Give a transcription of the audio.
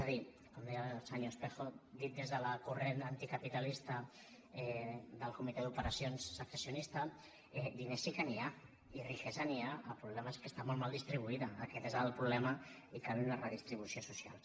és a dir com deia el senyor espejo dit des del corrent anticapitalista del comitè d’operacions secessionista diners sí que n’hi ha i riquesa n’hi ha el problema és que està molt mal distribuïda aquest és el problema i cal una redistribució social